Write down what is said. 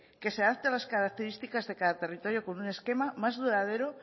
que se adapte a las características de cada territorio con un esquema más duradero